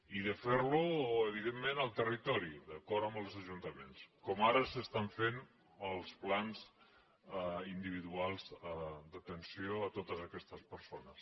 i de fer ho evidentment al territori d’acord amb els ajuntaments com ara s’estan fent els plans individuals d’atenció a totes aquestes persones